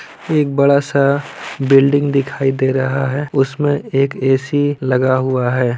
एक बड़ा-सा बिल्डिंग दिखाई दे रहा है उसमे एक ए_सी लगा हुआ हैं।